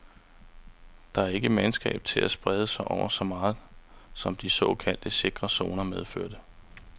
Der er ikke mandskab til at sprede sig over så meget, som de såkaldt sikre zoner medførte.